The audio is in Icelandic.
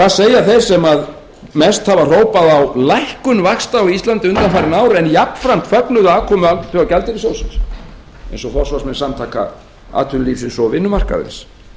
hvað segja þeir sem mest hafa hrópað á lækkun vaxta á íslandi undanfarin ár en jafnframt fögnuðu aðkomu alþjóðagjaldeyrissjóðsins aðeins og forsvarsmenn samtaka atvinnulífsins og vinnumarkaðarins